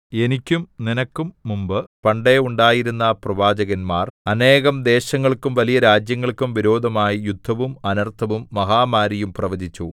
എനിക്കും നിനക്കും മുമ്പ് പണ്ടേയുണ്ടായിരുന്ന പ്രവാചകന്മാർ അനേകം ദേശങ്ങൾക്കും വലിയ രാജ്യങ്ങൾക്കും വിരോധമായി യുദ്ധവും അനർത്ഥവും മഹാമാരിയും പ്രവചിച്ചു